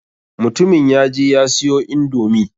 Mutumin ya je ya siyo indomi.